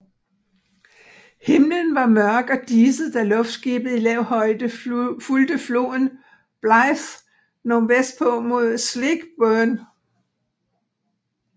Himlen var mørk og diset da luftskibet i lav højde fulgte floden Blyth nordvestpå mod Sleekburn